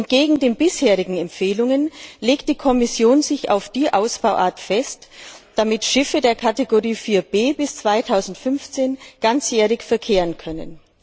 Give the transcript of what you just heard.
Entgegen den bisherigen Empfehlungen legt die Kommission sich auf die Ausbauart fest, damit Schiffe der Kategorie 4B bis 2015 ganzjährig verkehren können.